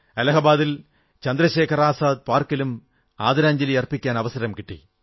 അലഹബാദിൽ ചന്ദ്രശേഖർ ആസാദ് പാർക്കിലും ആദരാഞ്ജലി അർപ്പിക്കാൻ അവസരം കിട്ടി